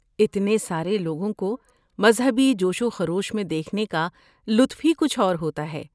اتنے سارے لوگوں کو مذہبی جوش و خروش میں دیکھنے کا لطف ہی کچھ اور ہوتا ہے۔